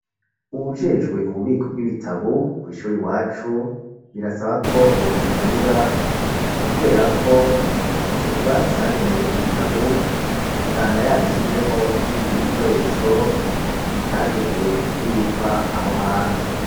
Uwujejwe ububiko bw'ibitabu, kw’ishure iwacu, birasaba ko bomukebura, kubera ko ico kibanza cagenewe ibitabu, usanga yagishizemwo n'ibindi bikoresho, bitagenewe kubikwa aho hantu.